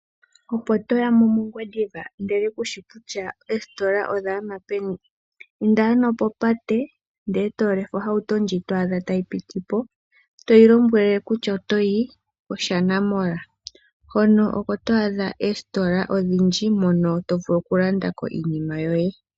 Opo toyamo mOngwediva ndele kushi kutya oositola odhagama peni? Inda ano popate etolefe ohauto ndjoka twaadha tayi piti po etoyi lombwele kutya otoyi kOshana mall hono oko twaadha oositola odhindji hono tovulu okulanda iinima yoye.